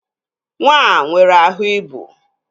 Nwa a nwere ahụ ibu